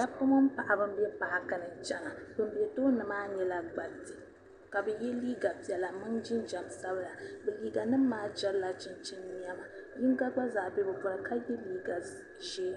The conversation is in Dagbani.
dabba dabba mini paɣaba m be paakini n chena ban be tooni maa nyela gbariti ka bɛ ye liiga piɛla ka so jinjɛm sabla liiga nima maa jɛbla chinchin nema yiŋa gba zaa be bɛ puuni ka ye liiga ʒee